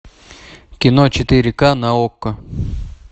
кино четыре ка на окко